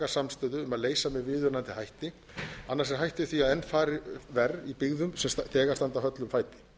viðunandi hætti annars er hætt við því að enn fari verr í byggðum sem þegar standa höllum fæti